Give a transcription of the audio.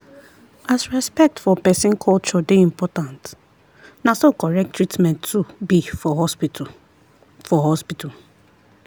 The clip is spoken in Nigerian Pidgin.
as respect for person culture dey important na so correct treatment too be for hospital. for hospital.